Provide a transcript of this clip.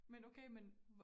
Men okay men